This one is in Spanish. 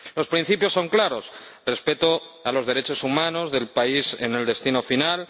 Los principios son claros respeto a los derechos humanos del país en el destino final